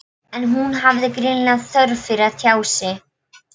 En hún hafði greinilega þörf fyrir að tjá sig.